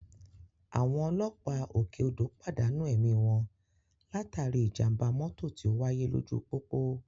Àwọn ọlọ́pàá òkè odò pàdánù ẹ̀mí wọn látàrí ìjàmbá mọ́tò tí ó wáyé lójú pópó